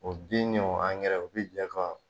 O bin ni o angɛrɛ o bɛ jɛ fa